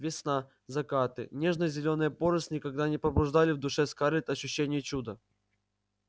весна закаты нежно-зеленая поросль никогда не пробуждали в душе скарлетт ощущения чуда